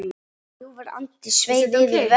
Ljúfur andi sveif yfir vötnum.